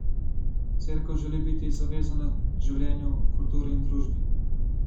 Cerkev želi biti zavezana življenju, kulturi in družbi.